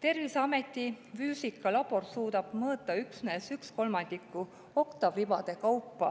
Terviseameti füüsikalabor suudab mõõta üksnes ühe kolmandiku oktaavribade kaupa